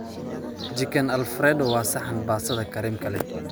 Chicken Alfredo waa saxan baastada kareemka leh